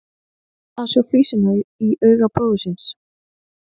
Að sjá flísina í auga bróður síns